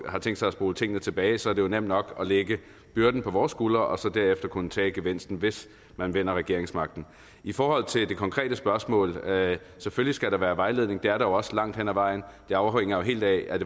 har tænkt sig at spole tingene tilbage så er det jo nemt nok at lægge byrden på vores skuldre og så derefter kunne tage gevinsten hvis man vinder regeringsmagten i forhold til det konkrete spørgsmål selvfølgelig skal der være vejledning det er der jo også langt hen ad vejen det afhænger jo helt af